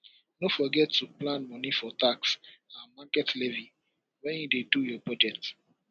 no forget to plan money for tax and market levy when you dey do your budget